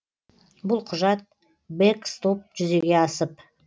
бұл құжат бэкстоп жүзеге асып